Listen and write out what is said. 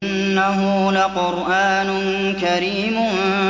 إِنَّهُ لَقُرْآنٌ كَرِيمٌ